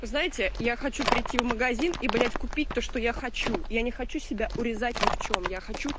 знаете я хочу прийти в магазин и блять купить то что я хочу я не хочу себя урезать ни в чем я хочу